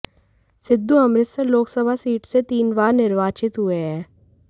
Sidhu Amritsar Lok Sabha seat से तीन बार निर्वाचित हुए हैं